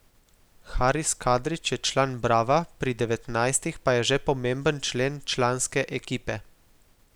Haris Kadrić je član Brava, pri devetnajstih pa je že pomemben člen članske ekipe.